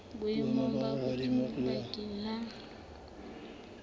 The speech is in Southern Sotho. boemong bo hodimo bakeng la